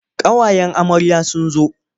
Ƙawayen amarya sun zo.